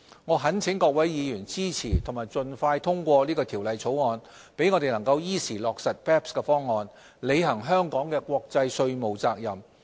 我懇請各位議員支持及盡快通過《條例草案》，讓我們能依時落實 BEPS 方案，履行香港的國際稅務責任。